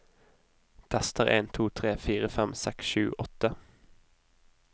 Tester en to tre fire fem seks sju åtte